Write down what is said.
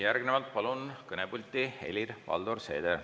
Järgnevalt palun kõnepulti Helir-Valdor Seederi.